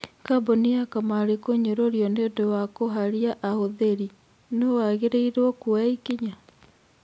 Kambuni ya kamarĩ kũnyũrũrio nĩũndũ wa kũharia ahũthĩri, Nũũ wagĩrĩirwo kuoya ikinya?